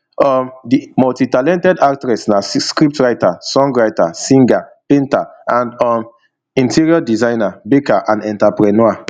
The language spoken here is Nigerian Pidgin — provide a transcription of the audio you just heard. um di multitalented actress na c scriptwriter songwriter singer painter and um interior designer baker and enterpreneur